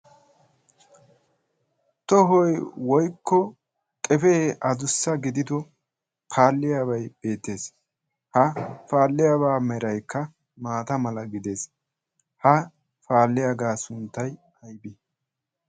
Tohoy woykko qefee addussa gidido faaliyaabay beettees, ha faaliyaa meray maatta malatees. ha faaliyaaga sunttay aybbe?